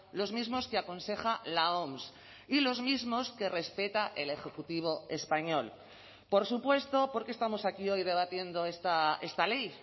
los mismos que aconseja la oms y los mismos que respeta el ejecutivo español por supuesto por qué estamos aquí hoy debatiendo esta ley